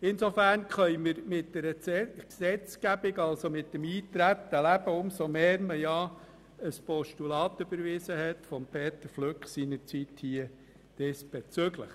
Insofern können wir mit dem Eintreten leben, umso mehr, als seinerzeit diesbezüglich ein Postulat von Grossrat Flück überwiesen wurde.